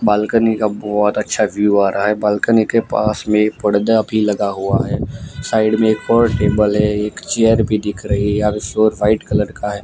Balcony का बहुत अच्छा व्यू आ रहा है बालकनी के पास में एक पर्दा भी लगा हुआ है साइड में एक और टेबल है एक चेयर भी दिख रही है यहां पे फ्लोर व्हाइट कलर का है।